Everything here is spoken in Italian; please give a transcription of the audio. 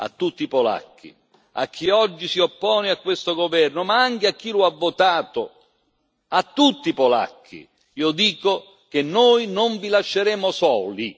A tutti i polacchi, a chi oggi si oppone a questo governo, ma anche a chi lo ha votato, a tutti i polacchi io dico che noi non vi lasceremo soli.